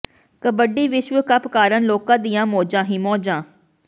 ਕਬੱਡੀ ਵਿਸ਼ਵ ਕੱਪ ਕਾਰਨ ਲੋਕਾਂ ਦੀਆਂ ਮੌਜਾਂ ਹੀ ਮੌਜਾਂ